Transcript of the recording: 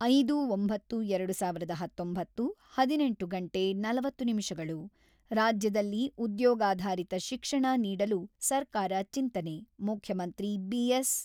ಐದು. ಒಂಬತ್ತು. ಎರಡು ಸಾವಿರದ ಹತೊಂಬತ್ತು ಹದಿನೆಂಟು ಗಂಟೆ ನಲವತ್ತು ನಿಮಿಷಗಳು ರಾಜ್ಯದಲ್ಲಿ ಉದ್ಯೋಗಾಧಾರಿತ ಶಿಕ್ಷಣ ನೀಡಲು ಸರ್ಕಾರ ಚಿಂತನೆ – ಮುಖ್ಯಮಂತ್ರಿ ಬಿ.ಎಸ್.